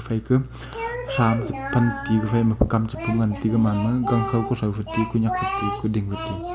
phai ka tham je pan te u gafai ma kam che pu ngan ti u gaman ma gang khaw kuthow fai ti u kunek fai ti u kuding fai ti u.